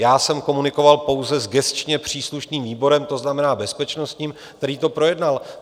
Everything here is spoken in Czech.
Já jsem komunikoval pouze s gesčně příslušným výborem, to znamená bezpečnostním, který to projednal.